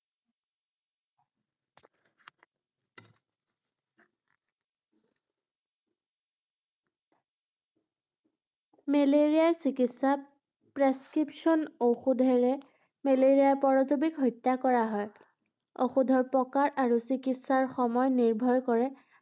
মেলেৰিয়াৰ চিকিৎসাত prescription ঔষধেৰে মেলেৰিয়া পৰজীৱীক হত্যা কৰা হয় ৷ ঔষধৰ প্ৰকাৰ আৰু চিকিৎসা সময় নিৰ্ভৰ কৰে,